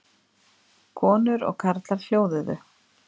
Konur og karlar hljóðuðu.